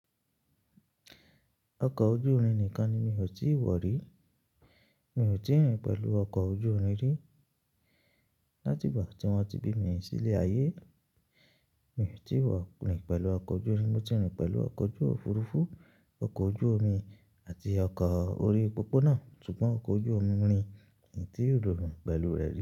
Ọkọ̀ ojú irin nìkan ni mi ò tíì wọ̀ rí. Mi ò tíì rìn pẹ̀lú ọkọ̀ ojú irin rí. Látìgbà tí wọ́n ti bí mi sílé ayé, mi ò tí ì wọ̀ rìn pẹ̀lú ọkọ̀ ojú irin. Mo ti rìn pẹ̀lú ọkọ̀ ojú òfuurufú, ọkọ̀ ojú omi àti ọkọ̀ orí pópóná, ṣùgbọ́n ọkọ̀ ojú omi rìn mi ò tí ì lò rìn pẹ̀lú rẹ̀ rí.